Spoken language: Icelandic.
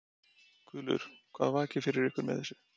Guðlaugur, hvað vakir fyrir ykkur með þessu?